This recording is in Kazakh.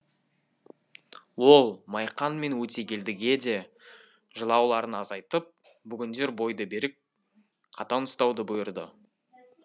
ол майқан мен өтегелдіге де жылауларын азайтып бүгіндер бойды берік қатаң ұстауды бұйырды